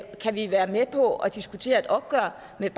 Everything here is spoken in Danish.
kan vi være med på at diskutere et opgør med